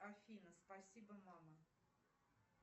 афина спасибо мама